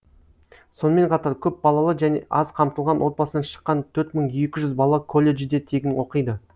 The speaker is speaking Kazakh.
сонымен қатар көпбалалы және аз қамтылған отбасынан шыққан төрт мың екі жүз бала колледжде тегін оқиды